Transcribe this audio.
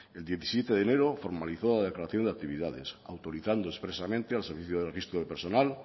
el diecisiete de enero formalizó la declaración de actividades autorizando expresamente al servicio de registro de personal